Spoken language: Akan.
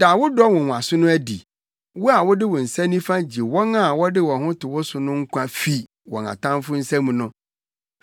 Da wo dɔ nwonwaso no adi; wo a wode wo nsa nifa gye wɔn a wɔde wɔn ho to wo so no nkwa fi wɔn atamfo nsam no.